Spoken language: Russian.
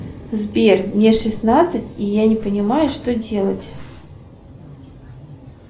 сбер мне шестнадцать и я не понимаю что делать